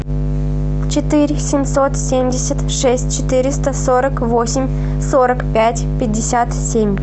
четыре семьсот семьдесят шесть четыреста сорок восемь сорок пять пятьдесят семь